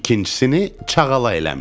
İkincisini çağala eləmişdim.